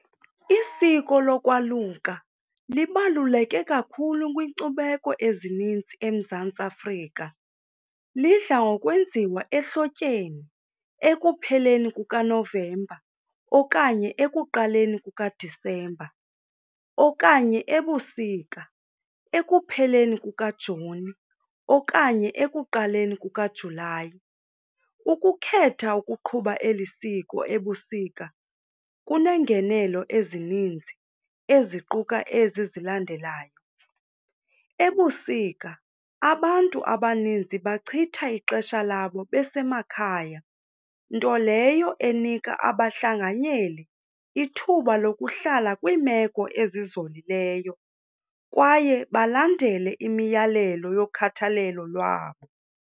Isiko lokwaluka libaluleke kakhulu kwinkcubeko ezininzi eMzantsi Afrika. Lidla ngokwenziwa ehlotyeni ekupheleni kukaNovemba okanye ekuqaleni kukaDisemba okanye ebusika ekupheleni kukaJuni okanye ekuqaleni kukaJulayi. Ukukhetha ukuqhuba eli siko ebusika kunengenelo ezininzi eziquka ezi zilandelayo. Ebusika abantu abaninzi bachithe ixesha labo besemakhaya, nto leyo enika abahlanganyeli ithuba lokuhlala kwiimeko ezizolileyo kwaye balandele imiyalelo yokhathalelo lwabo.